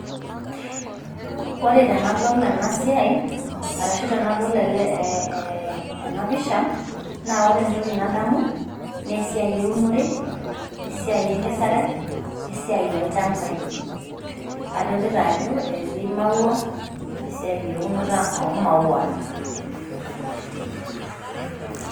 Ore tenadol ena siai, arashu tenadol ena pisha naa ore entoki nadamu naa esiai eunore, esiai enkesare, we esiai olchambai. Adolita ajo etii imaua, esiai eunoto oo imaua.